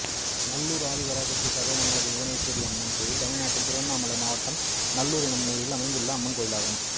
நல்லூர் ஆதிபராசக்தி சர்வமங்கல புவனேஸ்வரியம்மன் கோயில் தமிழ்நாட்டில் திருவண்ணாமலை மாவட்டம் நல்லூர் என்னும் ஊரில் அமைந்துள்ள அம்மன் கோயிலாகும்